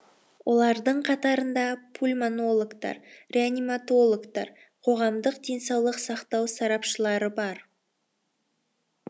олардың қатарында пульмонологтар реаниматологтар қоғамдық денсаулық сақтау сарапшылары бар